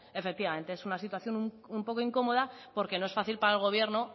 efectivamente es una situación un poco incómoda porque no es fácil para el gobierno